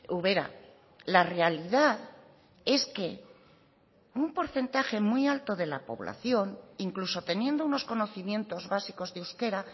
ubera la realidad es que un porcentaje muy alto de la población incluso teniendo unos conocimientos básicos de euskera